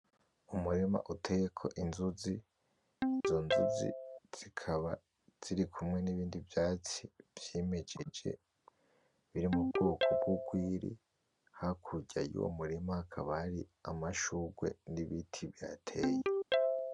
Umurima uteyeko inzuzi, izo nzuzi zikaba zirikumwe n’ibindi vyatsi vyimejeje biri mu bwoko bw’urwiri, hakurya yuwo murima hakaba hari amashurwe n’ibiti bihateye.